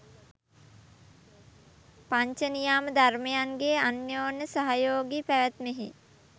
පංචනියාම ධර්මයන්ගේ අන්‍යෝන්‍ය සහයෝගී පැවැත්මෙහි